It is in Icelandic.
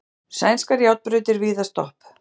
Sænskar járnbrautir víða stopp